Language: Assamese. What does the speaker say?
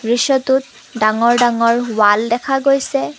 দৃশ্যটোত ডাঙৰ ডাঙৰ ৱাল দেখা গৈছে।